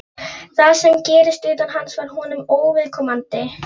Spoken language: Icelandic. Það sem gerðist utan hans var honum óviðkomandi.